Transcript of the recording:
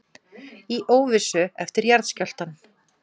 Í óvissu eftir jarðskjálftann